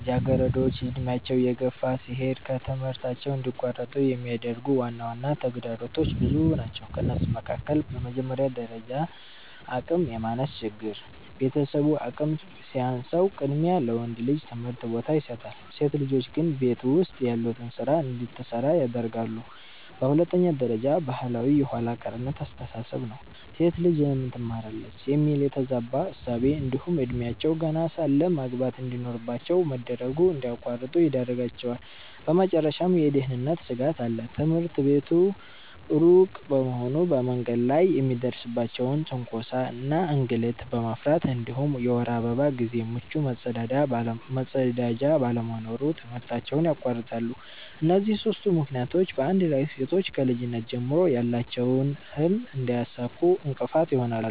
ልጃገረዶች ዕድሜያቸው እየገፋ ሲሄድ ከትምህርት እንዲቋረጡ የሚያደርጉ ዋና ተግዳሮቶች ብዙ ናቸው ከእነሱም መካከል፦ በመጀመሪያ ደረጃ አቅም የማነስ ችግር፤ ቤተሰቡ አቅም ሲያንሰው ቅድሚያ ለወንድ ልጅ ትምህርት ቦታ ይሰጣል፣ ሴት ልጆች ግን ቤት ውስጥ ያሉትን ስራ እንድትሰራ ያደርጋለየ። በሁለተኛ ደረጃ ባህላዊ የኋላ ቀርነት አስተሳሰብ ነው፤ "ሴት ልጅ ለምን ትማራለች?" የሚል የተዛባ እሳቤ እንዲሁም እድሜያቸው ገና ሳለ ማግባት እንድኖርባቸው መደረጉ እንድያቋርጡ ይዳርጋቸዋል። በመጨረሻም የደህንነት ስጋት አለ፤ ትምህርት ቤቱ ሩቅ በመሆኑ በመንገድ ላይ የሚደርስባቸውን ትንኮሳ እና እንግልት በመፍራት እንዲሁም የወር አበባ ጊዜ ምቹ መጸዳጃ ባለመኖሩ ትምህርታቸውን ያቋርጣሉ። እነዚህ ሦስቱ ምክንያቶች በአንድ ላይ ሴቶች ከልጅነት ጀምሮ ያላቸውን ህልም እንዳያሳኩ እንቅፋት ይሆናሉ።